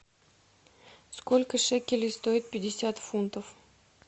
сколько шекелей стоит пятьдесят фунтов